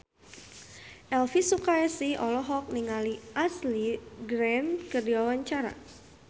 Elvi Sukaesih olohok ningali Ashley Greene keur diwawancara